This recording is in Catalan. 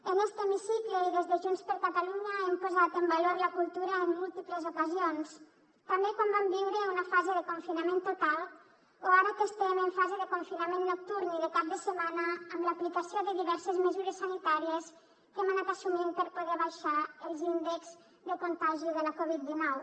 en este hemicicle i des de junts per catalunya hem posat en valor la cultura en múltiples ocasions també quan vam viure una fase de confinament total o ara que estem en fase de confinament nocturn i de cap de setmana amb l’aplicació de diverses mesures sanitàries que hem anat assumint per poder abaixar els índexs de contagi de la covid dinou